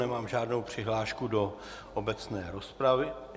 Nemám žádnou přihlášku do obecné rozpravy.